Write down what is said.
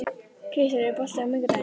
Kristel, er bolti á miðvikudaginn?